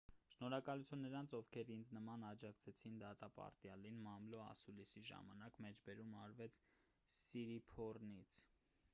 շնորհակալություն նրանց ովքեր ինձ նման աջակցեցին դատապարտյալին մամլո ասուլիսի ժամանակ մեջբերում արվեց սիրիփոռնից